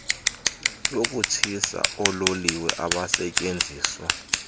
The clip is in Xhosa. yokutshisa oololiwe abasetyenziswa